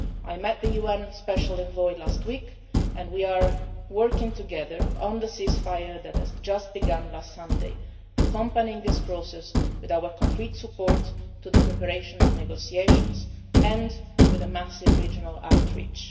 I met the UN special envoy last week, and we are working together on the ceasefire that began last Sunday, accompanying this process with our concrete support for the preparation of negotiations and with a massive regional